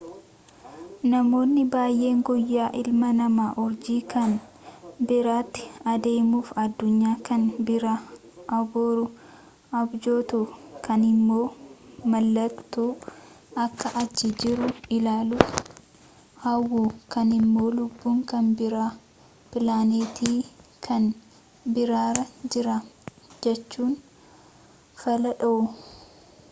namoonni baayyeen guyyaa ilmi namaa urjii kan biraatti adeemuufi addunyaa kan biraa abuuru abjootu ,kaanimmo maaltu akka achi jiru ilaaluuf hawwu, kaanimmo lubbuun kan biraa pilaaneetii kan birarra jira jechuun fala dhawu